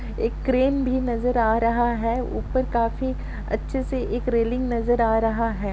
एक क्रेन भी नज़र आ रहा है ऊपर काफी अच्छे से एक रेलिंग नज़र आ रहा है।